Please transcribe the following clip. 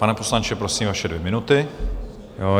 Pane poslanče, prosím, vaše dvě minuty.